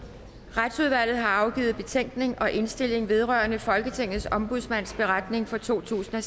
retsudvalget har afgivet betænkning og indstilling vedrørende folketingets ombudsmands beretning for totusinde